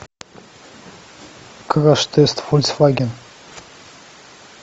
краш тест фольксваген